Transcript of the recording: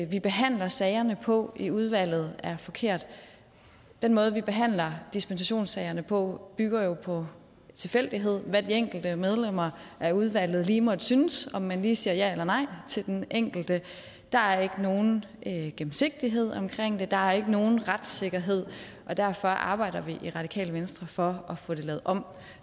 vi behandler sagerne på i udvalget er forkert den måde vi behandler dispensationssagerne på bygger jo på tilfældighed hvad de enkelte medlemmer af udvalget lige måtte synes om man lige siger ja eller nej til den enkelte der er ikke nogen gennemsigtighed omkring det der er ikke nogen retssikkerhed og derfor arbejder vi i radikale venstre for at få det lavet om